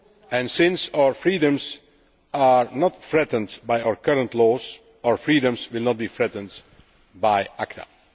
And since our freedoms are not threatened by our current laws, our freedoms will not be threatened by ACTA.